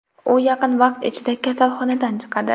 U yaqin vaqt ichida kasalxonadan chiqadi.